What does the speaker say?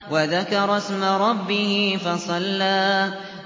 وَذَكَرَ اسْمَ رَبِّهِ فَصَلَّىٰ